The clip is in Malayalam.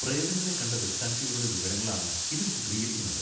പ്രേതങ്ങളെ കണ്ട ദൃക്സാക്ഷികളുടെ വിവരങ്ങളാണ് ഇതിൽ ചിത്രീകരിക്കുന്നത്.